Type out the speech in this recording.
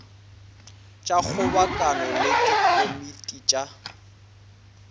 tša kgobokano le dikomiti tša